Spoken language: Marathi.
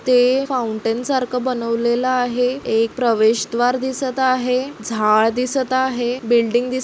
ते फौंटन सारखं बनवलेल आहे एक प्रवेश द्वार दिसत आहे झाड दिसत आहे बिल्डिंग दिस--